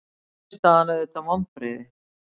Niðurstaðan auðvitað vonbrigði